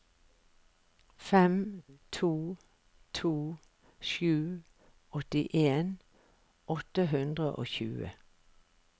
fem to to sju åttien åtte hundre og tjue